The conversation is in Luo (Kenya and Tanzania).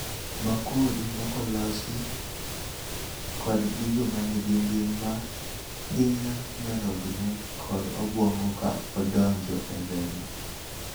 Makuri mokolosi kod gigo manigi ngima hinyo nyarognne kod obwongo ka odonjo e remo